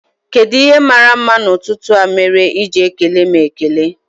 kedụ ihe màrà mma n'ututu a mere iji ekele m ekele?